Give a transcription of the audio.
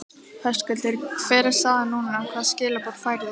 Höskuldur: Hver er staðan núna, hvaða skilaboð færðu?